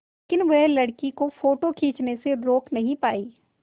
लेकिन वह लड़की को फ़ोटो खींचने से रोक नहीं पाई